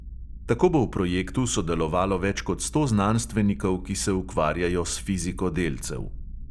Tako bo v projektu sodelovalo več kot sto znanstvenikov, ki se ukvarjajo s fiziko delcev.